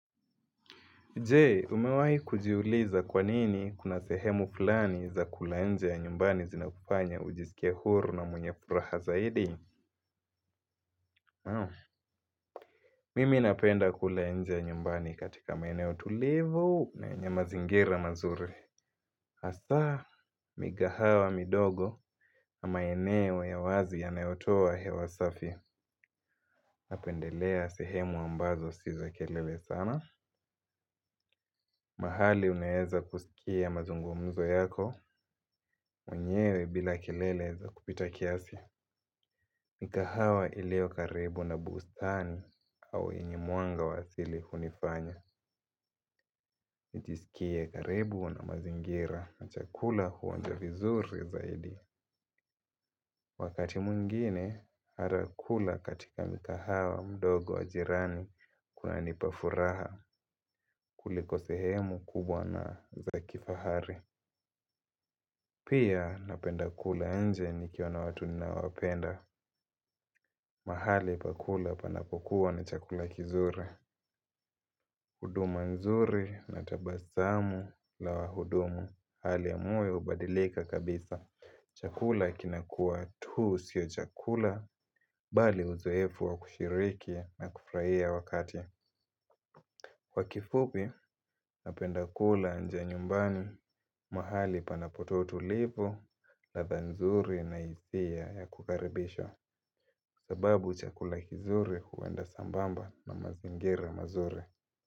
Jee, umewahi kujiuliza kwanini kuna sehemu fulani za kula nje ya nyumbani zinakufanya ujiskie huru na mwenye furaha zaidi? Mimi napenda kula nje ya nyumbani katika maeneo tulivu na yenye mazingira mazuri. Asa, mikahawa midogo na maeneo ya wazi ya nayotoa hewasafi. Napendelea sehemu ambazo si za kelele sana. Mahali unaeza kusikia mazungumzo yako. Mwenyewe bila kelele za kupita kiasi. Mikahawa iliyo karibu na bustani au yenye mwanga wa asili hunifanya nijisikie karibu na mazingira na chakula huonja vizuri zaidi. Wakati mwingine harakula katika mikahawa mdogo wa jirani kuna nipafuraha kuliko sehemu kubwa na za kifahari. Pia napenda kula inje nikiwa na watu ninawapenda. Mahali pakula panapokuwa na chakula kizuri huduma nzuri na tabasamu la wahudumu hali ya moyo hubadilika kabisa. Chakula kinakuwa tu sio chakula bali uzoefu wa kushiriki na kufurahia wakati. Kwa kifupi na pendakula nje nyumbani. Mahali panapotoa utulivu, ladha nzuri na ya kukaribisha sababu chakula kizuri huenda sambamba na mazingira mazuri.